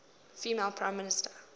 female prime minister